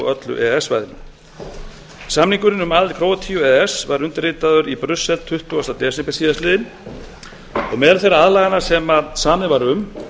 öllu e e s svæðinu samningurinn um aðild króatíu að e e s var undirritaður í brussel tuttugasta desember síðastliðinn og meðal þeirra aðlagana sem samið var um